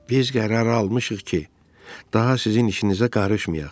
Biz qərar almışıq ki, daha sizin işinizə qarışmayaq.